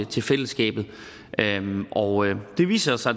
til fællesskabet og det viser sig